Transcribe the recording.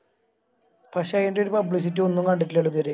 പക്ഷെ ഈൻറെരു Publicity ഒന്നും കണ്ടിട്ടില്ലാലോ ഇത്‌വരെ